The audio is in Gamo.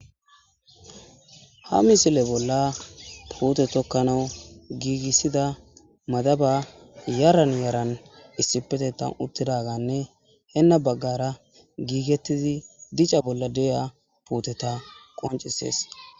Ha misile bolla puute tokkanas giigisida madabay zaran zaran issipetethan uttidaganne henni baggara giivetidi dicco bolla diza puuteta qoncisees.